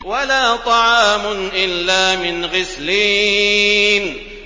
وَلَا طَعَامٌ إِلَّا مِنْ غِسْلِينٍ